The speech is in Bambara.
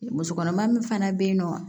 Musokɔnɔma min fana bɛ yen nɔ